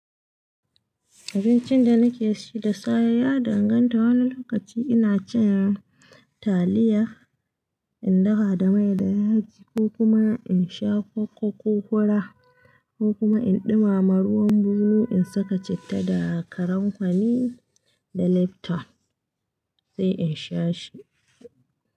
Abincin da nake ci da safe ya danganta. Wani lokaci ina cin taliya in dafa da mai da yaji, ko kuma in sha koko ko fura, ko kuma in ɗumama ruwan bunu in saka citta da kalan fari da lipton sai in sha shi.